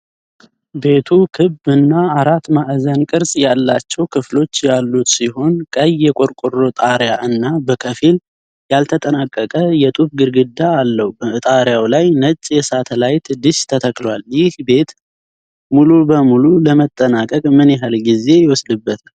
ቤቱ ክብ እና አራት ማዕዘን ቅርፅ ያላቸው ክፍሎች ያሉት ሲሆን፣ ቀይ የቆርቆሮ ጣሪያ እና በከፊል ያልተጠናቀቀ የጡብ ግድግዳ አለው። በጣሪያው ላይ ነጭ የሳተላይት ዲሽ ተተክሏል። ይህ ቤት ሙሉ በሙሉ ለመጠናቀቅ ምን ያህል ጊዜ ይወስዳል?